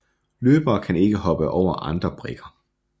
Løbere kan ikke hoppe over andre brikker